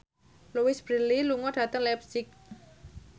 Louise Brealey lunga dhateng leipzig